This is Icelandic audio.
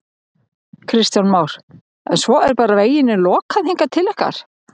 Kristján Már: En svo er bara veginum lokað hingað til ykkar?